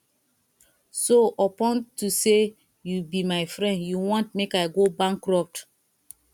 so unto say you be my friend you wan make i go bankrupt